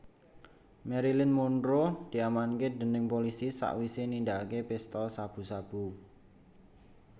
Marilyn Monroe diamanke dening polisi sakwise nindakake pesta sabu sabu